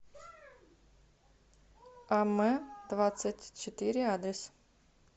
а м двадцать четыре адрес